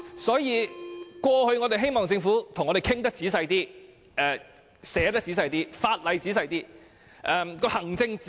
所以，我們希望政府與我們仔細討論，也會仔細撰寫法例和行政指引。